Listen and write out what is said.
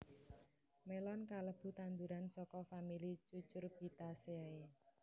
Mélon kalebu tanduran saka famili Cucurbitaceae